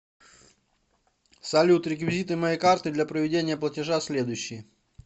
салют реквизиты моей карты для проведения платежа следующие